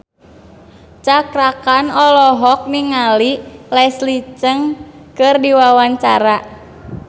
Cakra Khan olohok ningali Leslie Cheung keur diwawancara